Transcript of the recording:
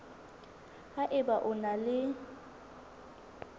ha eba o na le